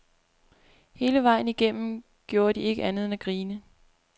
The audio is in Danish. Hele vejen igennem gjorde de ikke andet end at grine.